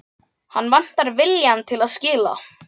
Hann vantar viljann til að skilja.